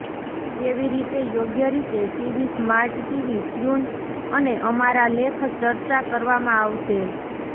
કેવી રીતે યોગ્ય રીતે ટીવી સ્માર્ટ ટીવી ટ્યુન અને અમારા લેખ ચર્ચા કરવામાં આવશે